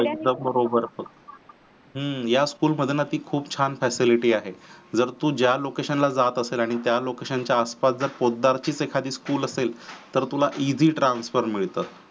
एकदम बरोबर हम्म याच school मध्ये खूप छान facility आहे. जर तू ज्या location ला जात असेल आणि त्या location च्या आस पास जर पोतदार चीच एखादी school असेल तर तुला ev transfer मिळतं.